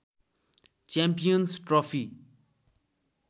champions trophy